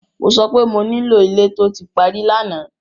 Mo sọ pé mo nílò ilé tó ti parí lánàá!